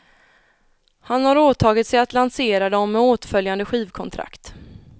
Han har åtagit sig att lansera dem med åtföljande skivkontrakt.